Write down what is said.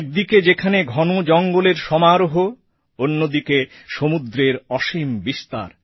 একদিকে যেখানে ঘন জঙ্গলের সমারোহ অন্যদিকে সমুদ্রের অসীম বিস্তার